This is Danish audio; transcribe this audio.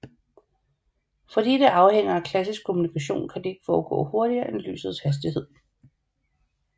Fordi det afhænger af klassisk kommunikation kan det ikke foregå hurtigere end lysets hastighed